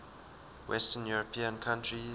western european countries